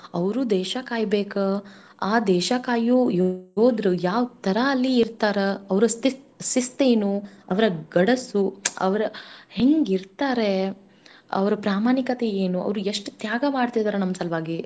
ಅವ್ರೂ ದೇಶ ಕಾಯ್ಬೇಕ ಆ ದೇಶ ಕಾಯೋ ಯೋ~ ಯೋಧ್ರು ಯಾವ್ ತರಾ ಅಲ್ಲಿ ಇರ್ತಾರ ಅವ್ರ ಸ್ತ್~ ಸಿಸ್ತೇನೂ ಅವ್ರ ಗಡಸೂ ಅವ್ರ ಹೆಂಗಿರ್ತಾರೇ ಅವ್ರ ಪ್ರಾಮಾಣಿಕತೆ ಏನು ಅವ್ರ ಎಷ್ಟ್ ತ್ಯಾಗ ಮಾಡ್ತಿದಾರ್ ನಮ್ ಸಲ್ವಾಗೀ.